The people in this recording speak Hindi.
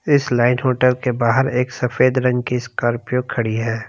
इस लाइन होटल के बाहर एक सफेद रंग की स्कॉर्पियो खड़ी है।